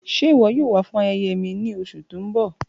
Ṣe iwọ yoo wa fun ayẹyẹ mi ni oṣu ti n bọ?